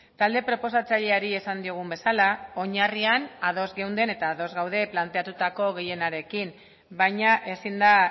talde proposatzaileari esan diogun bezala oinarrian ados geunden eta ados gaude planteatutako gehienarekin baina ezin da